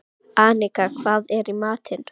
Annika, hvað er í matinn?